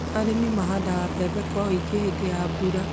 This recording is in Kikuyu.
Arĩmi mahandaga mbembe kwa ũingĩ hĩndĩ ya mbura.